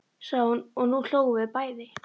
sagði hún og nú hlógum við bæði.